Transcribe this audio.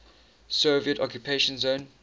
soviet occupation zone